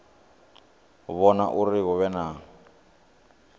vhona uri hu vhe na